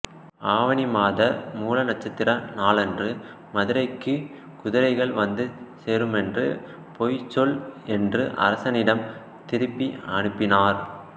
ஆவணிமாத மூல நட்சத்திர நாளன்று மதுரைக்குக் குதிரைகள் வந்து சேருமென்று போய்ச் சொல் என்று அரசனிடம் திருப்பி அனுப்பினார்